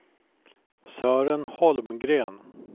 Sören Holmgren